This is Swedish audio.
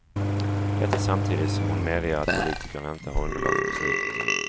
Detta samtidigt som hon medger att politikerna inte har underlag för beslutet.